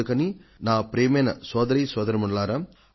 అందుకని నా ప్రియమైన సోదర సోదరీమణులారా